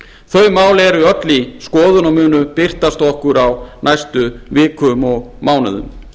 þau mál eru öll í skoðun og munu birtast okkur á næstu vikum og mánuðum